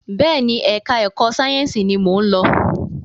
Bẹẹni, ẹka ẹ̀kọ́ sáyẹnsì ní mọ ń lọ.